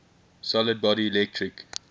solid body electric